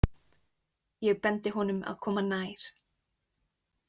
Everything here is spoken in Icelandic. Ég bendi honum að koma nær.